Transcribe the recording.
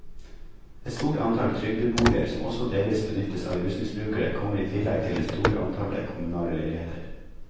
Et stort antall trygdeboliger, som også delvis benyttes av rusmisbrukere, kommer i tillegg til det store antallet kommunale leiligheter.